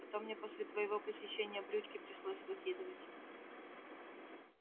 а то мне после твоего посещения брючки пришлось выкидывать